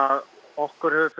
okkur hefur